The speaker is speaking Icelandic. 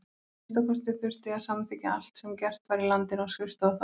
Að minnsta kosti þurfti að samþykkja allt sem gert var í landinu á skrifstofu þar.